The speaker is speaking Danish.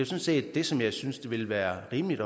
set det som jeg synes ville være rimeligt